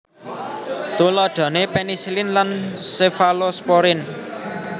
Tuladhane penisilin lan sefalosporin